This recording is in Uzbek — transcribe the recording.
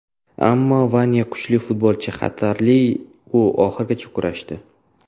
Ammo Vanya kuchli futbolchi, xarakterli, u oxirigacha kurashdi.